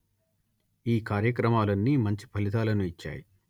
ఈ కార్యక్రమాలన్నీ మంచి ఫలితాలను ఇచ్చాయి